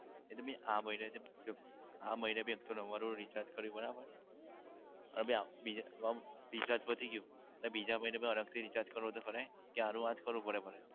એટલે મે આ મહિના ભી એક સો નવ્વાણું નું recharge કર્યું બરાબર અને બીજા recharge પતી ગયું અને બીજા મહિના મા અલગથી recharge કરવું હોય તો કરાય? કે આનું આ જ કરવું પડે?